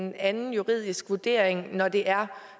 en anden juridisk vurdering når det er